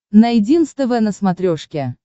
найди нств на смотрешке